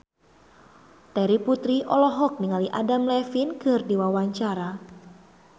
Terry Putri olohok ningali Adam Levine keur diwawancara